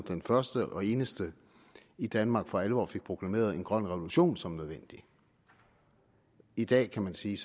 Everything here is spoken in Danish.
den første og eneste i danmark som for alvor fik proklameret en grøn revolution som værende nødvendig i dag kan man sige